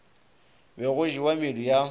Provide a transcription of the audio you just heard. be go jewa medu ya